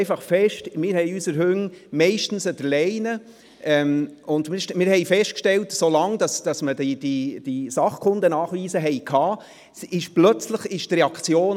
Wir haben unsere Hunde meistens an der Leine, und wir haben einfach festgestellt, so lange man die SKN hatte, war die Reaktion plötzlich anders.